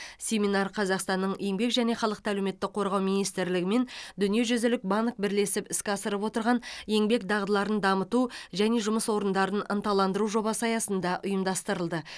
семинар қазақстанның еңбек және халықты әлеуметтік қорғау министрлігі мен дүниежүзілік банк бірлесіп іске асырып отырған еңбек дағдыларын дамыту және жұмыс орындарын ынталандыру жобасы аясында ұйымдастырылды